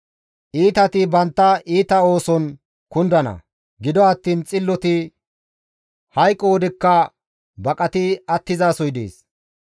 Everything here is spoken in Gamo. Iitati bantta iita ooson kundana; gido attiin xilloti hayqo wodekka baqati attizasoy dees.